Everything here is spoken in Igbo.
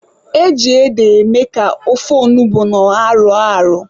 E ji ede eme ka ofe onugbu na ọha rọọ arọ.